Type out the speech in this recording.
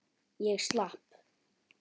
Ég slapp.